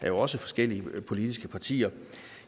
jo også forskellige politiske partier